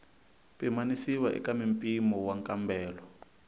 pimanisiwa eka mimpimo wa nkambelo